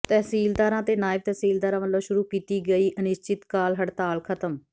ਤਹਿਸੀਲਦਾਰਾਂ ਤੇ ਨਾਇਬ ਤਹਿਸੀਲਦਾਰਾਂ ਵੱਲੋਂ ਸ਼ੁਰੂ ਕੀਤੀ ਗਈ ਅਨਿਸ਼ਚਿਤਕਾਲ ਹੜਤਾਲ ਖ਼ਤਮ